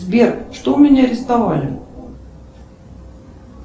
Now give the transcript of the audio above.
сбер что у меня арестовали